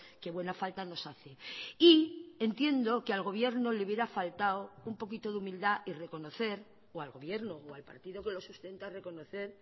que buena falta nos hace y entiendo que al gobierno le hubiera faltado un poquito de humildad y reconocer o al gobierno o al partido que lo sustenta reconocer